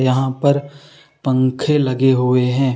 यहा पर पंखे लगे हुए हैं।